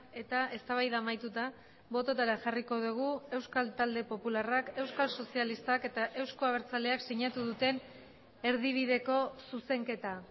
eta eztabaida amaituta bototara jarriko dugu euskal talde popularrak euskal sozialistak eta euzko abertzaleak sinatu duten erdibideko zuzenketa